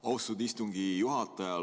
Austatud istungi juhataja!